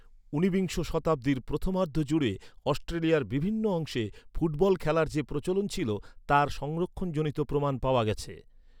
ঊনবিংশ শতাব্দীর প্রথমার্ধ জুড়ে অস্ট্রেলিয়ার বিভিন্ন অংশে 'ফুট বল' খেলার যে প্রচলন ছিল, তার সংরক্ষণজনিত প্রমাণ পাওয়া গেছে।